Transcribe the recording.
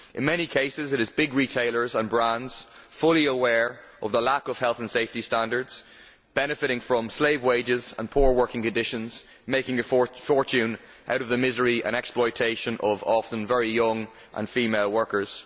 In many cases it is big retailers and brands, fully aware of the lack of health and safety standards and benefitting from slave wages and poor working conditions, which are making a fortune out of the misery and exploitation of often very young female workers.